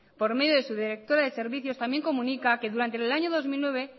por medio de su directora de servicios también comunica que durante el año dos mil nueve